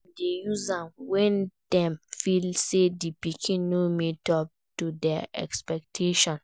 Dem de use am when dem feel say di pikin no meet up to their expectation